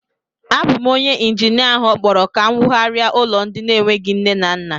Ọ bu m bu onyé injinia áhù okpọrọ ka m wụgharia ụlọ ndị n'enweghị nne na nna